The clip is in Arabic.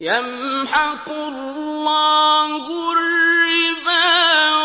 يَمْحَقُ اللَّهُ الرِّبَا